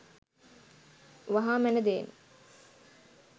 වහා මැන දෙයි.